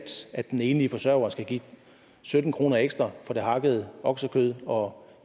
at den enlige forsørger skal give sytten kroner ekstra for det hakkede oksekød og